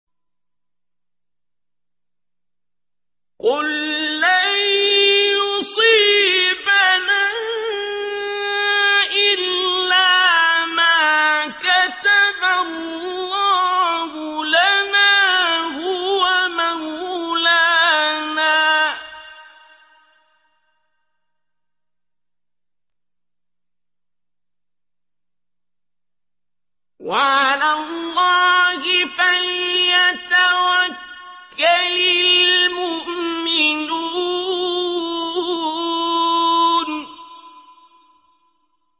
قُل لَّن يُصِيبَنَا إِلَّا مَا كَتَبَ اللَّهُ لَنَا هُوَ مَوْلَانَا ۚ وَعَلَى اللَّهِ فَلْيَتَوَكَّلِ الْمُؤْمِنُونَ